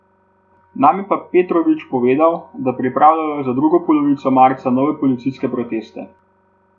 Nam je pa Petrovič povedal, da pripravljajo za drugo polovico marca nove policijske proteste.